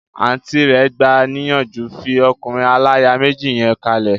Àùntí rẹ̀ gbà níyànjú, 'fi ọkùnrin aláya méjì yẹn kalẹ̀'